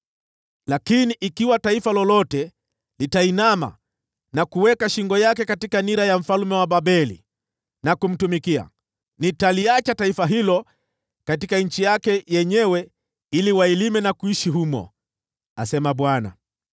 Lakini ikiwa taifa lolote litainama na kuweka shingo lake katika nira ya mfalme wa Babeli na kumtumikia, nitaliacha taifa hilo katika nchi yake yenyewe ili wailime na kuishi humo, asema Bwana .”’”